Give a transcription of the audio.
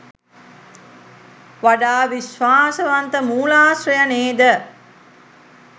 වඩා විශ්වාසවන්ත මූලාශ්‍රය නේද?